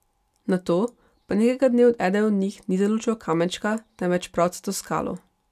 Nato pa nekega dne eden od njih ni zalučal kamenčka, temveč pravcato skalo.